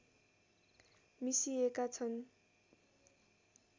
मिसिएका छन्